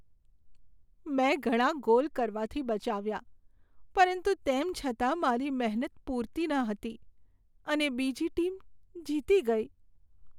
મેં ઘણા ગોલ કરવાથી બચાવ્યા પરંતુ તેમ છતાં મારી મહેનત પૂરતી ન હતી અને બીજી ટીમ જીતી ગઈ.